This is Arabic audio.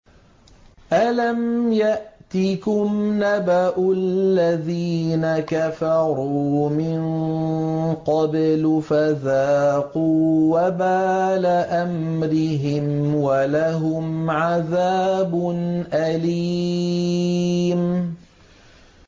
أَلَمْ يَأْتِكُمْ نَبَأُ الَّذِينَ كَفَرُوا مِن قَبْلُ فَذَاقُوا وَبَالَ أَمْرِهِمْ وَلَهُمْ عَذَابٌ أَلِيمٌ